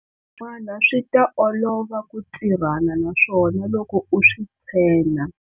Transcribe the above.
Swin'wana swi ta olova ku tirhana na swona loko u swi tshena.